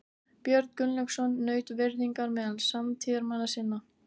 Björn Gunnlaugsson naut virðingar meðal samtíðarmanna sinna.